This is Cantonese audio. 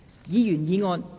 議員議案。